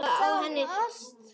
Það skjálfa á henni hnén.